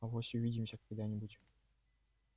авось увидимся когда-нибудь